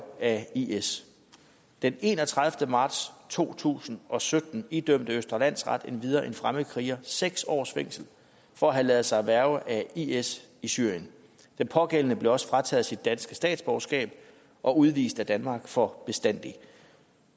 af is den enogtredivete marts to tusind og sytten idømte østre landsret endvidere en fremmedkriger seks års fængsel for at have lade sig hverve af is i syrien den pågældende blev også frataget sit danske statsborgerskab og udvist af danmark for bestandigt